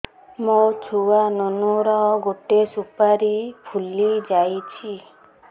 ମୋ ଛୁଆ ନୁନୁ ର ଗଟେ ସୁପାରୀ ଫୁଲି ଯାଇଛି